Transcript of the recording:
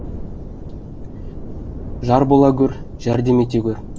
жар бола гөр жәрдем ете гөр